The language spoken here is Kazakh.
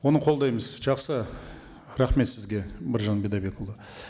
оны қолдаймыз жақсы рахмет сізге біржан бидайбекұлы